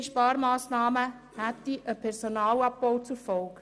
Weitergehende Sparmassnahmen hätten einen Personalabbau zur Folge.